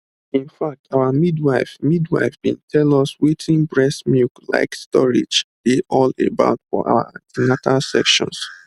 in fact our midwife midwife been tell us wetin breast milk like storage dey all about for our an ten atal sessions